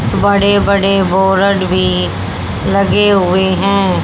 बड़े बड़े बोरड भी लगे हुए हैं।